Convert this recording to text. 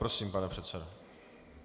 Prosím, pane předsedo.